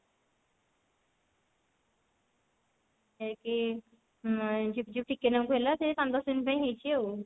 ହେଇକି ଉଁ ଝିପ୍ ଝିପ୍ ଟିକେ ନାକୁ ହେଲା ସେଇ ପାଞ୍ଚ ଦଶ minute ପାଇଁ ହେଲା ଆଉ